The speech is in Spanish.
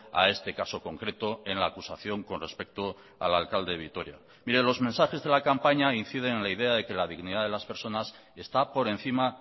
a este caso concreto en la acusación con respecto al alcalde de vitoria mire los mensajes de la campaña inciden en la idea de que la dignidad de las personas está por encima